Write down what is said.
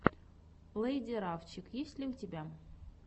лэйди рафчик есть ли у тебя